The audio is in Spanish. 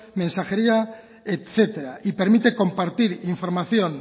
mensajería etcétera y permite compartir información